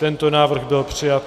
Tento návrh byl přijat.